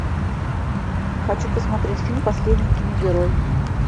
хочу посмотреть фильм последний киногерой